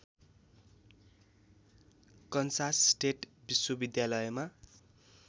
Kansas State विश्वविद्यालयमा